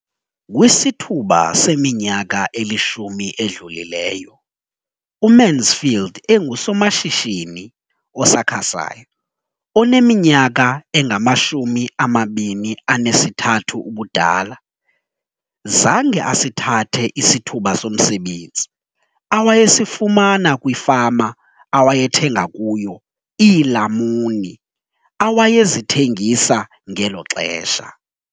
Kwisithuba seminyaka elishumi edlulileyo, uMansfield engusomashishini osakhasayo oneminyaka engama-23 ubudala, zange asithathe isithuba somsebenzi awayesifumana kwifama awayethenga kuyo iilamuni awayezithengisa ngelo xesha.